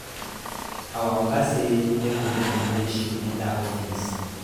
Our Oga say make we no dey wear shoe enter office